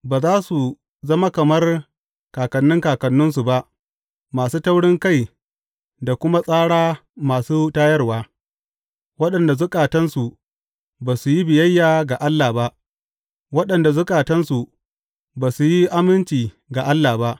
Ba za su zama kamar kakanni kakanninsu ba, masu taurinkai da kuma tsara masu tayarwa, waɗanda zukatansu ba su yi biyayya ga Allah ba, waɗanda zukatansu ba su yi aminci ga Allah ba.